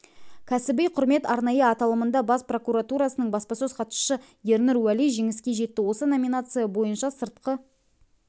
кәсіби құрмет арнайы аталымында бас прокуратурасының баспасөз хатшысы ернұр уәли жеңіске жетті осы номинация бойынша сыртқы